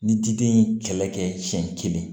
Ni diden ye kɛlɛ kɛ siɲɛ kelen